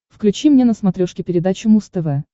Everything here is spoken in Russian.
включи мне на смотрешке передачу муз тв